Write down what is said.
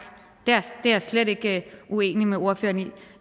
det er jeg slet ikke uenig med ordføreren i